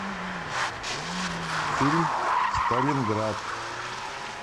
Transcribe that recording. фильм сталинград